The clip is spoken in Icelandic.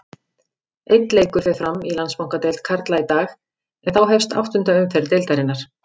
Einn leikur fer fram í Landsbankadeild karla í dag en þá hefst áttunda umferð deildarinnar.